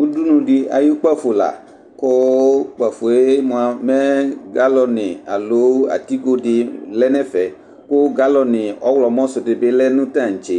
Ʋdʋni di ayʋ kpafo la kpafoe mʋa mɛ galɔni alo atigodi lɛnʋ ɛfɛ kʋ galɔni ɔwlɔmɔ sʋ dibi lɛ nʋ tantse